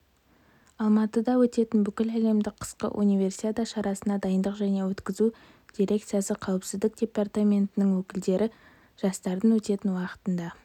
алматыда өтетін бүкіләлемдік қысқы универсиада шарасына дайындық және өткізу дирекциясы қауіпсіздік департаментінің өкілдері жарыстардың өтетін уақытында